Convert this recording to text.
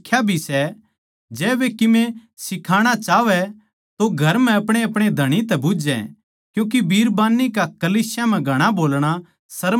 जै वे कीमे सिखणा चाहवै तो घर म्ह अपणेअपणे धणी तै बुझै क्यूँके बिरबान्नी का कलीसिया म्ह घणा बोलणा शर्म की बात सै